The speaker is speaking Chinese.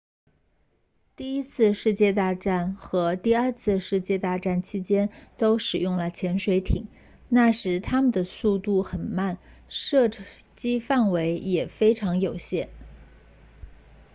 第一次世界大战和第二次世界大战期间都使用了潜水艇那时它们的速度很慢射击范围也非常有限